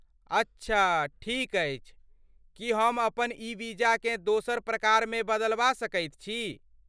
अच्छा, ठीक अछि। की हम अपन ई वीजाकेँ दोसर प्रकारमे बदलबा सकैत छी?